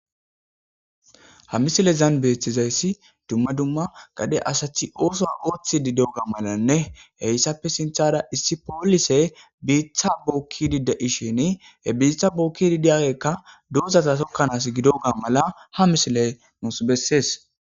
Ha misilezan beeththizayssi dumma dumma gade asathi ooso ooththi diyaga malanne heyssappe sinthara issi poolise biitha bookkidi da7ishin he biitha bookidi diyagekka doozata tokkanaas gidoga mala ha misile nuss bessees.